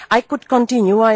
I could continue